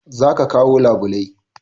Za ka kawo labulai